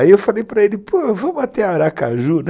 Aí eu falei para ele, pô, vamos até Aracaju, né?